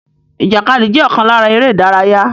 Ìjàkadì jẹ́ ọ̀kan lára eré ìdárayá